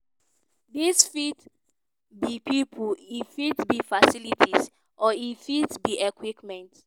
"dis fit be pipo e fit be facilities or e fit be equipment.